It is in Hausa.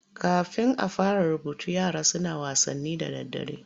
Kafin a fara rubutu yara suna wasanni da daddare.